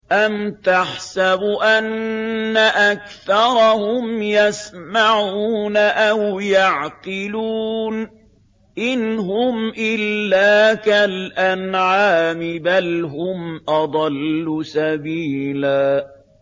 أَمْ تَحْسَبُ أَنَّ أَكْثَرَهُمْ يَسْمَعُونَ أَوْ يَعْقِلُونَ ۚ إِنْ هُمْ إِلَّا كَالْأَنْعَامِ ۖ بَلْ هُمْ أَضَلُّ سَبِيلًا